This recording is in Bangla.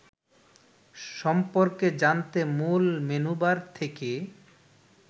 সম্পর্কে জানতে মূল মেনুবার থেকে